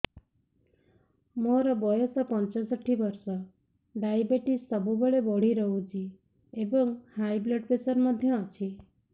ମୋର ବୟସ ପଞ୍ଚଷଠି ବର୍ଷ ଡାଏବେଟିସ ସବୁବେଳେ ବଢି ରହୁଛି ଏବଂ ହାଇ ବ୍ଲଡ଼ ପ୍ରେସର ମଧ୍ୟ ଅଛି